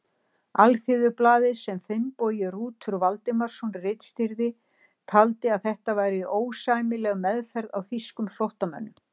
Alþýðublaðið, sem Finnbogi Rútur Valdimarsson ritstýrði, taldi að þetta væri ósæmileg meðferð á þýskum flóttamönnum.